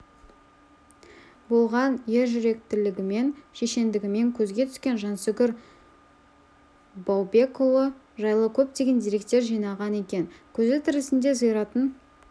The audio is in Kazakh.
болған ержүректілігімен шешендігімен көзге түскен жансүгір баубекұлы жайлы көптеген деректер жинаған екен көзі тірісінде зиратын